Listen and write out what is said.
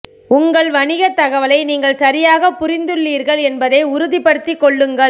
உங்கள் வணிகத் தகவலை நீங்கள் சரியாகப் புரிந்துள்ளீர்கள் என்பதை உறுதிப்படுத்திக் கொள்ளுங்கள்